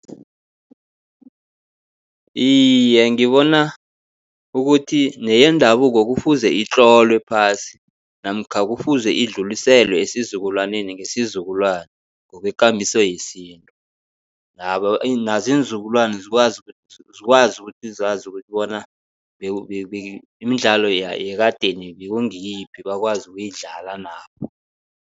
Iye, ngibona ukuthi neyendabuko kufuze itlolwe phasi namkha kufuze idluliselwe esizukulwaneni ngesizukulwana, ngokwekambiso yesintu. Nazo iinzukulwana zikwazi zikwazi ukuthi zazi ukuthi bona, imidlalo yekadeni bekungiyiphi bakwazi ukuyidlala nabo.